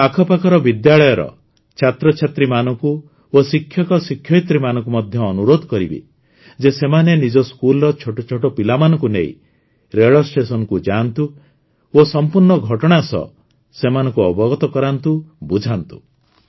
ମୁଁ ଆଖପାଖର ବିଦ୍ୟାଳୟର ଛାତ୍ରଛାତ୍ରୀମାନଙ୍କୁ ଓ ଶିକ୍ଷକଶିକ୍ଷୟିତ୍ରୀମାନଙ୍କୁ ମଧ୍ୟ ଅନୁରୋଧ କରିବି ଯେ ସେମାନେ ନିଜ ସ୍କୁଲର ଛୋଟ ଛୋଟ ପିଲାମାନଙ୍କୁ ନେଇ ରେଳ ଷ୍ଟେସନକୁ ଯାଆନ୍ତୁ ଓ ସମ୍ପୂର୍ଣ୍ଣ ଘଟଣା ସହ ସେମାନଙ୍କୁ ଅବଗତ କରାନ୍ତୁ ବୁଝାନ୍ତୁ